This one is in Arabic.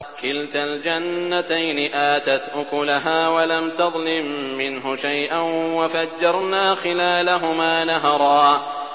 كِلْتَا الْجَنَّتَيْنِ آتَتْ أُكُلَهَا وَلَمْ تَظْلِم مِّنْهُ شَيْئًا ۚ وَفَجَّرْنَا خِلَالَهُمَا نَهَرًا